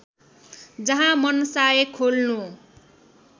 जहाँ मनसाय खोल्नु